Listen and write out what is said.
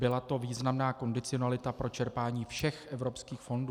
Byla to významná kondicionalita pro čerpání všech evropských fondů.